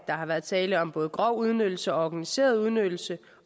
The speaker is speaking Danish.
har været tale om både grov udnyttelse og organiseret udnyttelse